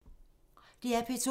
DR P2